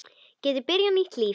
Geti byrjað nýtt líf.